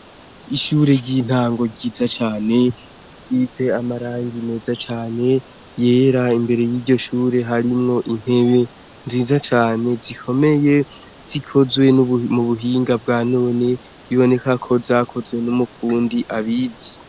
Ishure ry'itango ryiza cane risize amarangi meza cane, yera. Imbere mur' iryo shure hariho intebe nziza cane zikomeye, zikozwe mu buhinga bwa none, biboneka ko zakozwe n'umufindi abizi.